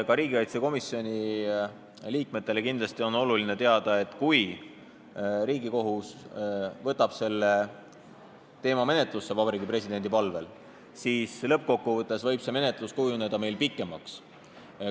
Ka riigikaitsekomisjoni liikmetel on kindlasti oluline teada, et kui Riigikohus võtab selle teema Vabariigi Presidendi palvel menetlusse, siis lõppkokkuvõttes võib meil menetlus kujuneda pikemaks.